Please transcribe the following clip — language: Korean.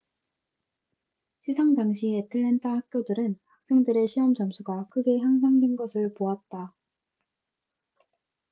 시상 당시 애틀랜타 학교들은 학생들의 시험 점수가 크게 향상된 것을 보았다